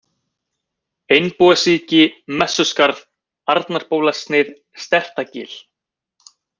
Einbúasíki, Messuskarð, Arnarbólasnið, Stertagil